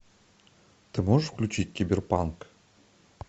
ты можешь включить киберпанк